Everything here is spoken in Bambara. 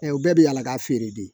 Ɛ u bɛɛ bɛ yala ka feere de